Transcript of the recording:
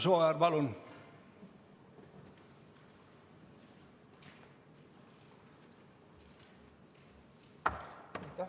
Imre Sooäär, palun!